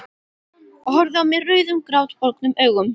Og horfir á mig rauðum grátbólgnum augum.